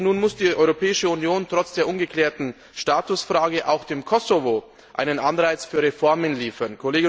Nun muss die Europäische Union trotz der ungeklärten Statusfrage auch dem Kosovo einen Anreiz für Reformen liefern.